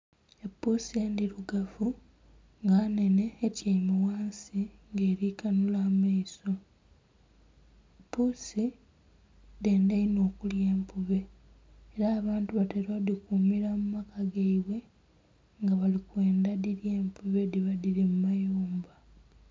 Epuusi endhirugavu nga nnhene etyaime ghansi nga eri kanhula amaiso. Puusi dhenda inho okulya empube, era abantu batera odhikumira mu maka gaibwe nga bali kwendha dhilye empube edhiba dhiri mu mayumba.